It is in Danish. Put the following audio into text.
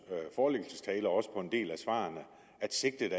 forelæggelsestale og også på en del af svarene at sigtet